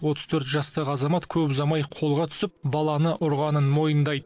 отыз төрт жастағы азамат көп ұзамай қолға түсіп баланы ұрғанын мойындайды